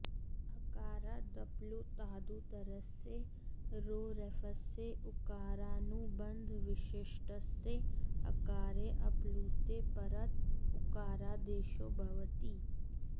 अकारादप्लुतादुत्तरस्य रो रेफस्य उकारानुबन्धविशिष्टस्य अकारे ऽप्लुते परत उकारादेशो भवति